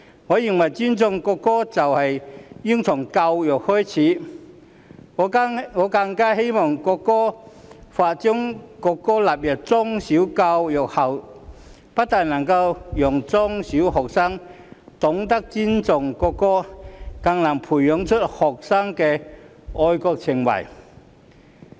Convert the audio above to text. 我認為尊重國歌應從教育開始，我更希望《條例草案》將國歌納入中小學教育後，不但能令中小學學生懂得尊重國歌，更能培養學生的愛國情懷。